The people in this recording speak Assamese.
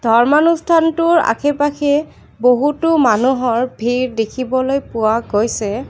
ধৰ্মা অনুষ্ঠানটোৰ আশে পাশে বহুতো মানুহৰ ভিৰ দেখিব পোৱা গৈছে।